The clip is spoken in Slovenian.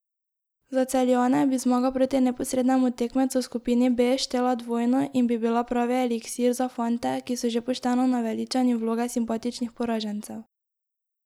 Za Celjane bi zmaga proti neposrednemu tekmecu v skupini B štela dvojno in bi bila pravi eliksir za fante, ki so že pošteno naveličani vloge simpatičnih poražencev.